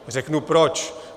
Řeknu proč.